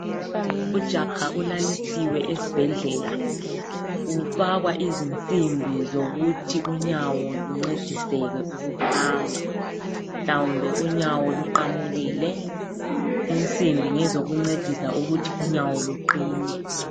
Ujaha ulalisiwe esibhedlela ufakwa izinsimbi zokuthi unyawo luncediseke ukuhamba ,mhlawumbe unyawo luqamukile .Insimbi ngezokuncedisa ukuthi unyawo luqine.